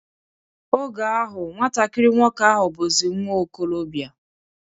Oge ahụ, nwatakiri nwoke ahụ bụzi nwa okolobia